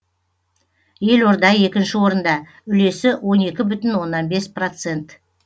елорда екінші орында үлесі он екі бүтін оннан бес процент